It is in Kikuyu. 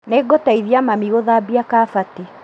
Nĩngũteithia mami gũthambia kabati